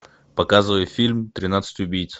показывай фильм тринадцать убийц